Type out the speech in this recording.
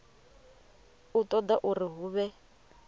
u ṱoḓa uri hu vhe